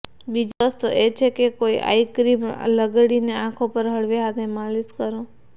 બીજો રસ્તો એ છે કે કોઈ આયક્રીમ લગાડીને આંખો પર હળવે હાથે માલીશ કરો